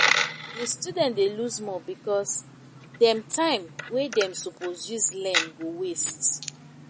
the student dey lose more because dem time wey dem suppose use learn go waste